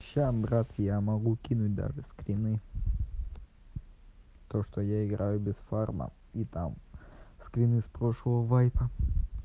сейчас брат я могу кинуть даже скрины то что я играю без фарма и там скрин из прошлого вайпа